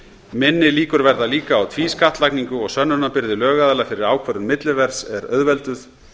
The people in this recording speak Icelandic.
minni líkur verða líka á tvískattlagningu og sönnunarbyrði lögaðila fyrir ákvörðun milliverðs er auðvelduð